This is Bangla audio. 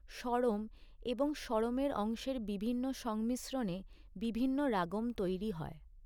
স্বরম এবং স্বরমের অংশের বিভিন্ন সংমিশ্রণে বিভিন্ন রাগম তৈরি হয়।